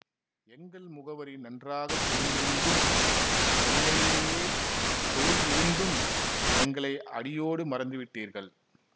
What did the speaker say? எங்கள் முகவரி நன்றாக தெரிந்திருந்தும் சென்னையிலேயே தொழில் இருந்தும் எங்களை அடியோடு மறந்து விட்டீர்கள்